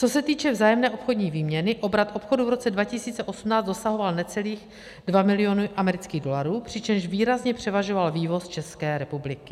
Co se týče vzájemné obchodní výměny, obrat obchodu v roce 2018 dosahoval necelých 2 milionů amerických dolarů, přičemž výrazně převažoval vývoz České republiky.